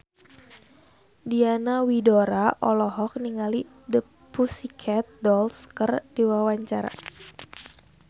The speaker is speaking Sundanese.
Diana Widoera olohok ningali The Pussycat Dolls keur diwawancara